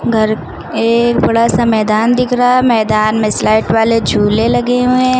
घर एक बड़ा सा मैदान दिख रहा है मैदान में स्लाइड वाले झूले लगे हुए हैं।